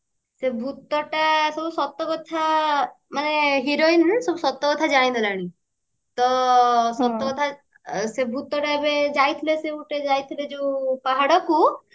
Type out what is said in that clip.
ସେଇ ଭୁତଟା ସବୁ ସତ କଥା ମାନେ heroine ସବୁ ସତ କଥା ଜାଣି ଦେଲାଣି ତ ସତ କଥା ସେ ଭୁତଟା ଏବେ ଯାଇଥିଲା ସେ ଗୋଟେ ଯାଇଥିଲା ଯୋଉ ପାହାଡକୁ